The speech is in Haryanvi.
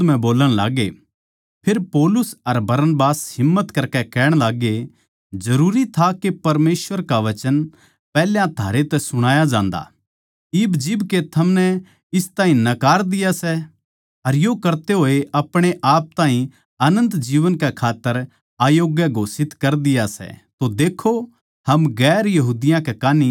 फेर पौलुस अर बरनबास हिम्मत करकै कहण लाग्गे जरूरी था के परमेसवर का वचन पैहल्या थारै तै सुणाया जान्दा इब जिब के थमनै इस ताहीं नकार दिया सै अर यो करते होए अपणे आप ताहीं अनन्त जीवन कै खात्तर अयोग्य घोषित कर दिया सै तो देक्खो हम दुसरी जात्तां कै कान्ही फिरां सां